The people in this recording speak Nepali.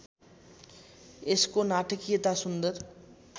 यसको नाटकीयता सुन्दर